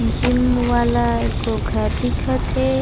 Gym वाला ए गो घर दिखत हे।